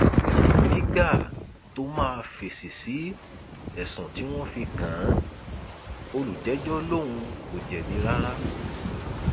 nígbà tó máa fèsì sí ẹsùn tí wọn fi kàn án olùjẹjọ lòun kò jẹbi rárá